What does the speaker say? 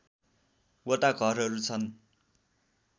वटा घरहरू छन्